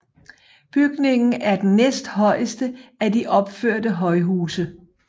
Bygningen er den næsthøjeste af de opførte højhuse